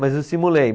Mas eu simulei.